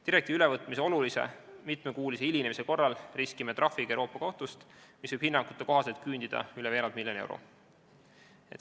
Direktiivi ülevõtmise olulise, mitmekuulise hilinemise korral riskime trahviga Euroopa Kohtust, mis võib hinnangute kohaselt küündida üle veerand miljoni euro.